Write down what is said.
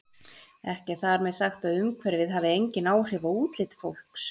Ekki er þar með sagt að umhverfið hafi engin áhrif á útlit fólks.